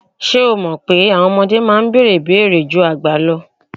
Ṣé o mọ̀ pé àwọn ọmọdé máa ń bèèrè ìbéèrè ju àgbà lọ?